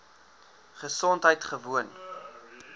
gesondheidgewoon